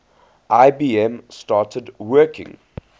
ibm started working